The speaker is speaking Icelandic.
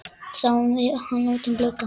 Sáum hann út um glugga.